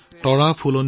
তৰাবোৰৰ বাগিচাৰ পৰা